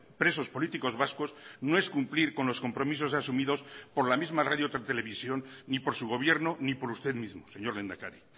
presos políticos vascos no es cumplir con los compromisos asumidos por la misma radiotelevisión ni por su gobierno ni por usted mismo señor lehendakari